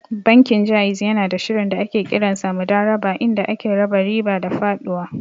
Bankin Ja'iz yanada shirin da ake kiransa Mudarabah inda ake raba riba da faɗuwa.